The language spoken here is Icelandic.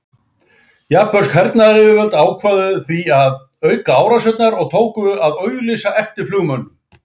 Japönsk hernaðaryfirvöld ákváðu því að auka árásirnar og tóku að auglýsa eftir flugmönnum.